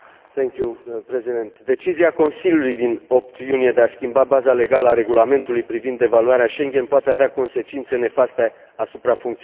Decizia Consiliului din 8 iunie de a schimba baza legală a Regulamentului privind evaluarea spațiului Schengen poate avea consecințe nefaste asupra funcționării spațiului Schengen.